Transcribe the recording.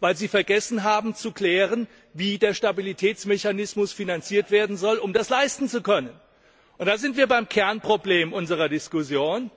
Weil sie vergessen haben, zu klären, wie der Stabilitätsmechanismus finanziert werden soll, um das leisten zu können. Damit sind wir beim Kernproblem unserer Diskussion.